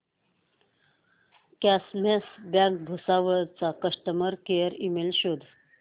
cosmos Bank Bhusawal चा customer care email शोध